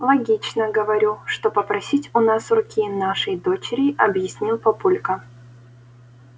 логично говорю что попросить у нас руки нашей дочери объяснил папулька